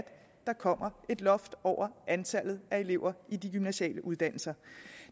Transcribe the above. der kommer et loft over antallet af elever i de gymnasiale uddannelser